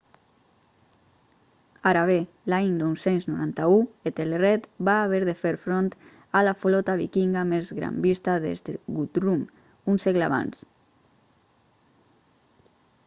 ara bé l'any 991 ethelred va haver de fer front a la flota vikinga més gran vista des de guthrum un segle abans